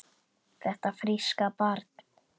Þetta fríska barn?